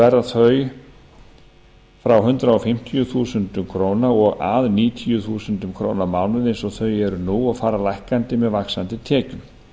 verða þau frá hundrað fimmtíu þúsund krónur og að níutíu þúsund krónur á mánuði eins og þau eru nú og fara lækkandi með vaxandi tekjum